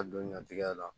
Ka don ɲantigɛ la